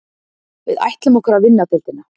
Við ætlum okkur að vinna deildina